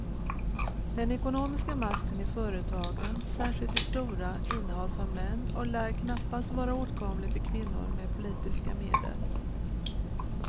Den ekonomiska makten i företagen, särskilt de stora, innehas av män och lär knappast vara åtkomlig för kvinnor med politiska medel.